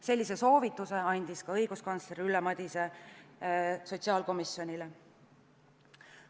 Sellise soovituse andis ka õiguskantsler Ülle Madise sotsiaalkomisjonile.